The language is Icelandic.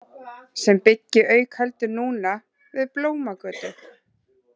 Sem byggi auk heldur núna við Blómagötu.